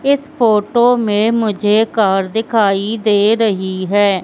इस फोटो में मुझे कार दिखाई दे रही है।